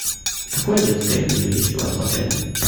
какое детское меню есть у вас в отеле